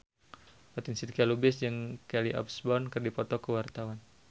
Fatin Shidqia Lubis jeung Kelly Osbourne keur dipoto ku wartawan